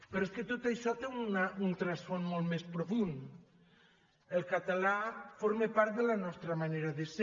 però és que tot això té un rerefons molt més profund el català forma part de la nostra manera de ser